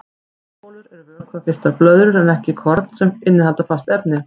Safabólur eru vökvafylltar blöðrur en korn innihalda fast efni.